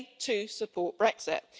They too support Brexit.